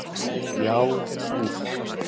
Já, úff.